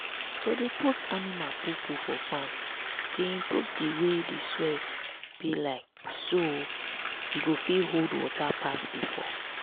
to dey put animal poo-poo for farm dey improve di way di soil be like so e go fit hold water pass before.